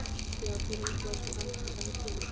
Já Hver er uppáhalds platan þín?